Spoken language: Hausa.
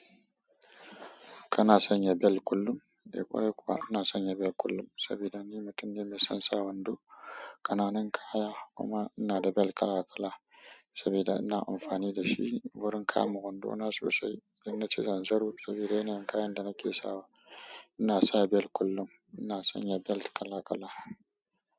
Kana sanya bel kullum? Eh ƙwarai kuwa ina sanya bel kullum sabida ni mutum ne mai son sa wando, ƙananun kaya kuma ina da bel kala kala sabida ina amfani dashi wurin kama wando na sosai. Idan naci zanzaro sabida yana kayan da nake sawa. Ina sa bel kullum, ina sanya bel kala kala.